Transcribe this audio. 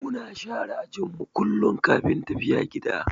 Muna share ajin mu kullum kafin tafiya gida.